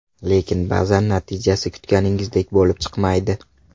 Lekin ba’zan natijasi kutganingizdek bo‘lib chiqmaydi.